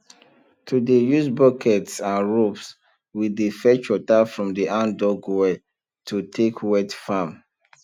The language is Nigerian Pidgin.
to dey use buckets and ropes we dey fetch water from the handdug well to take wet farm